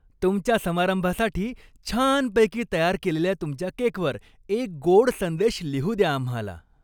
तुमच्या समारंभासाठी छानपैकी तयार केलेल्या तुमच्या केकवर एक गोड संदेश लिहू द्या आम्हाला.